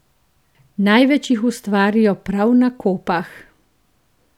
Največ jih ustvarijo prav na Kopah.